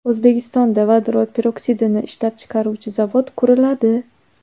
O‘zbekistonda vodorod peroksidini ishlab chiqaruvchi zavod quriladi.